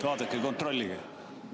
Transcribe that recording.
Vaadake ja kontrollige!